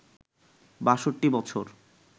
৬২ বছর